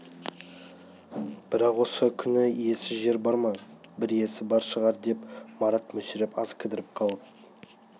бірақ осы күні иесіз жер бар ма бір иесі бар шығар деп марат мүсіреп аз кідіріп қалып